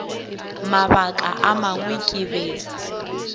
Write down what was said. mabaka a mangwe ke be